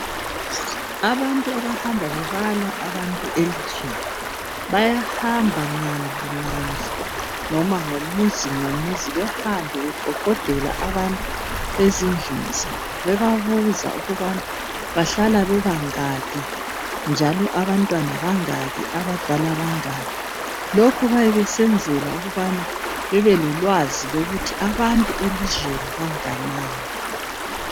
Abantu abahamba bebala abantu elizweni bayahamba ngandlu ngandlu noma ngomuzi ngomuzi behambe beqoqodela abantu ezindlini zabo bebabuza ukuthi bahlala bebangaki njalo abantwana bangaki njalo abadala bangaki lokhu bayabe besenzela ukubana bebelolwazi ukuthi abantu elizweni bangakanani